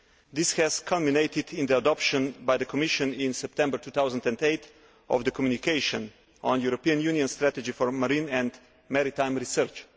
This culminated in the adoption by the Commission, in September 2008, of the communication on a European Union strategy for marine and maritime research.